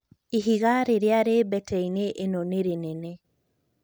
ĩhĩnga rĩrĩa rĩ mbeteĩnĩ ĩno nĩ rĩnene